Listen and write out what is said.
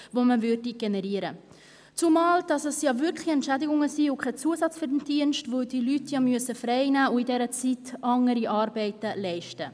Es handelt sich tatsächlich um Entschädigungen und nicht um Zusatzverdienste, da die Leute frei nehmen müssen und in dieser Zeit andere Arbeiten leisten.